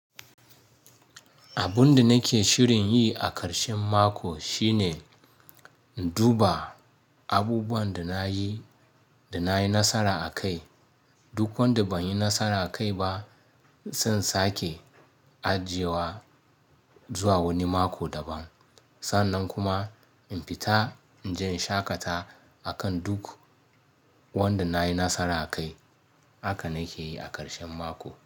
Abun da nake shirin yi a ƙarshen mako shine duba abubuwan da na yi, da na yi nasara a kai. Duk wanda ban yi nasara a kai ba, zan sake ajiyewa zuwa wani mako daban. Sannan kuma in pita, in je in shaƙata a kan duk wanda na yi nasara a kai. Haka nake yi a ƙarshen mako.